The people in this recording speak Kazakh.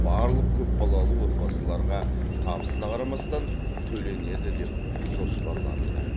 барлық көпбалалы отбасыларға табысына қарамастан төленеді деп жоспарлануда